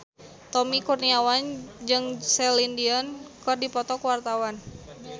Tommy Kurniawan jeung Celine Dion keur dipoto ku wartawan